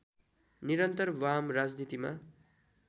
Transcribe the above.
निरन्तर वाम राजनीतिमा